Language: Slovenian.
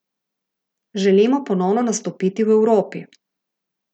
Želimo ponovno nastopiti v Evropi.